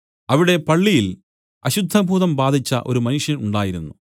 അവിടെ പള്ളിയിൽ അശുദ്ധഭൂതം ബാധിച്ച ഒരു മനുഷ്യൻ ഉണ്ടായിരുന്നു